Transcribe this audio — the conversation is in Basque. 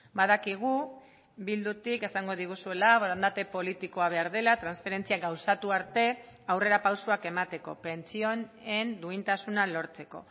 badakigu bildutik esango diguzuela borondate politikoa behar dela transferentzia gauzatu arte aurrera pausoak emateko pentsioen duintasuna lortzeko